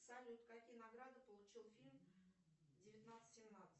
салют какие награды получил фильм девятнадцать семнадцать